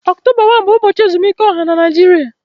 Ọktọba 1 bụ ụbọchị ezumike ọha na Naịjirịa